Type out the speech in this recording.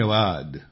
धन्यवाद